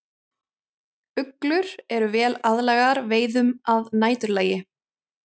Uglur eru vel aðlagaðar veiðum að næturlagi.